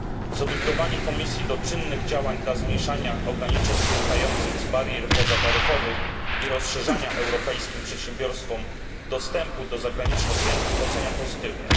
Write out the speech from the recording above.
Zobligowanie Komisji do czynnych działań na rzecz zmniejszania ograniczeń wynikających z barier pozataryfowych i na rzecz ułatwiania europejskim przedsiębiorstwom dostępu do zagranicznych rynków oceniam pozytywnie.